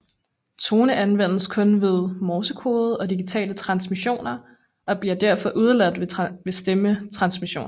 Tone anvendes kun ved morsekode og digitale transmissioner og bliver derfor udeladt ved stemmetransmission